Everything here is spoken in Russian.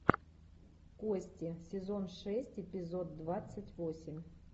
кости сезон шесть эпизод двадцать восемь